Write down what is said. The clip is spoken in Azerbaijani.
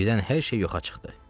Birdən hər şey yoxa çıxdı.